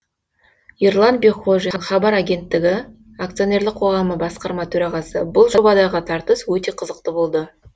ерлан бекхожин хабар агенттігі ақ басқарма төрағасы бұл жобадағы тартыс өте қызықты болды